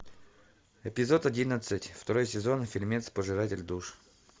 эпизод одиннадцать второй сезон фильмец пожиратель душ